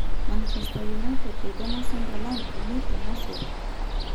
Manchester United eidongo Sunderland (3-0)uni tomosori.